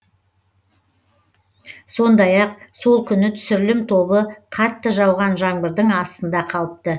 сондай ақ сол күні түсірілім тобы қатты жауған жаңбырдың астында қалыпты